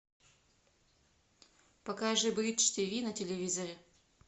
покажи бридж тв на телевизоре